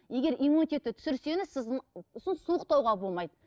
егер иммунитетті түсірсеңіз сіздің сосын суықтауға болмайды